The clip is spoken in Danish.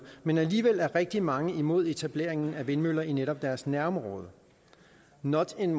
men alligevel er rigtig mange imod etableringen af vindmøller i netop deres nærområde not in